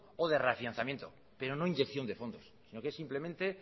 o de reafianzamiento pero no de inyección de fondos lo que es simplemente